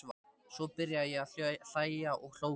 Svo byrjaði ég að hlæja og hló og hló.